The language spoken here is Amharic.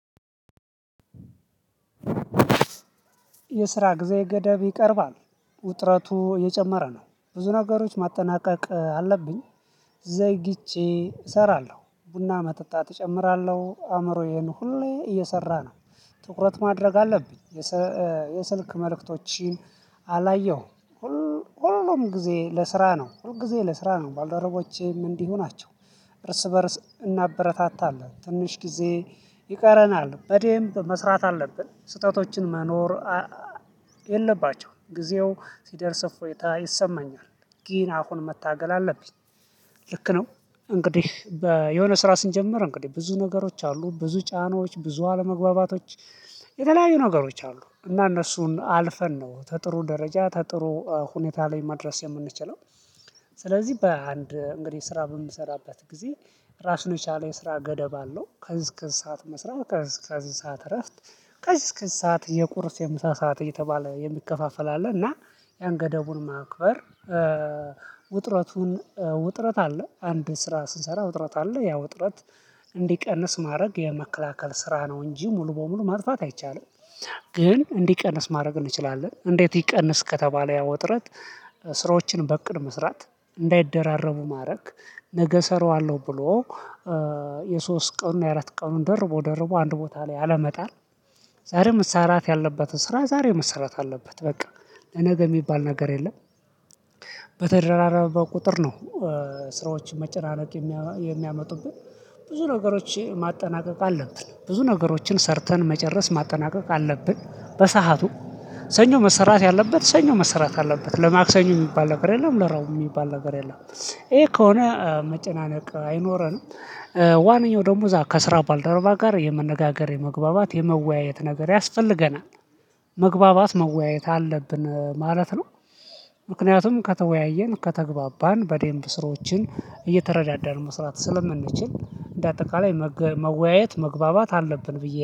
የስራ ጊዜ ገደብ ይቀርባል ውጥረቱ የጨመረ ነው። ብዙ ነገሮች ማጠናቀቅ አለብኝ። ዘግይቼ እሰራለሁ ቡና መጠጣት እጨምራለሁ አእምሮዬን ሁሌ እየሰራ ነው። ትኩረት ማድረግ አለብኝ። የስልክ መልእክቶችን አላየሁም። ሁሉም ጊዜ ለስራ ነው ሁል ጊዜ ለስራ ነው ባልደረቦቼም እንዲህ ናቸው። እርስ በእርስ እናበረታታለን ትንሽ ጊዜ ይቀረናል በደንብ መስራት አለብን ስህተቶችን መኖር። የለባቸውም ጊዜው ሲደርስ እፎይታ ይሰማኛል። ግን አሁን መታገል አለብኝ። ልክ ነው። እንግዲህ የሆነ ስራ ስንጀምር እንግዲህ ብዙ ነገሮች አሉ ብዙ ጫናዎች ብዙ አለመግባባቶች የተለያዩ ነገሮች አሉ እና እነሱን አልፈን ነው ከጥሩ ደረጃ ከጥሩ ሁኔታ ላይ መድረስ የምንችለው። ስለዚህ በአንድ እንግዲህ ስራ በምሰራበት ጊዜ ራስን የቻለ የስራ ገደብ አለው ከእዝ እዝ ሰዓት መስራት ከእዝ እዝ ሰዓት እረፍት። ከዚህ እስከዚህ ሰዓት የቁርስ የምሳ ሰዓት እየተባለ የሚከፋፈል አለ እና ያን ገደቡን ማክበር። ውጥረቱን ውጥረት አለ አንድ ስራ ስንሰራ ውጥረት አለ ያ ውጥረት እንዲቀንስ ማድረግ የመከላከል ስራ ነው እንጂ ሙሉ በሙሉ ማጥፋት አይቻልም። ግን እንዲቀንስ ማድረግ እንችላለን። እንዴት ይቀንስ ከተባለ ያ ወጥረት። ስራዎችን በእቅድ መስራት እንዳይደራረቡ ማድረግ ነገ እሰራዋለሁ ብሎ የሶስት ቀኑን የአራት ቀኑን ደርቦ ደርቦ አንድ ቦታ ላይ አለመጣል። ዛሬ መሰራት ያለበት ስራ ዛሬው መሰራት አለበት። በቃ ለነገ የሚባል ነገር የለም። በተደራረበ ቁጥር ነው። ስራዎችን መጨናነቅ የሚያመጡብን ብዙ ነገሮች ማጠናቀቅ አለብን ብዙ ነገሮችን ሰርተን መጨረስ ማጠናቀቅ አለብን በሰአቱ። ሰኞ መሰራት ያለበት ሰኞ መሰራት አለበት ለማክሰኞ የሚባል ነገር የለም ለረቡዕ የሚባል ነገር የለም። ይሄ ከሆነ መጨናነቅ አይኖረንም። ዋነኛው ደግሞ እዛ ከስራ ባልደረባ ጋር የመነጋገር የመግባባት የመወያየት ነገር ያስፈልገናል። መግባባት መወያየት አለብን ማለት ነው። ምክንያቱም ከተወያየን ከተግባባን በደንብ ስራወችን እየተረዳዳን መስራት ስለምንችል እንደ አጠቃላይ መወያየት መግባባት አለብን ብዬ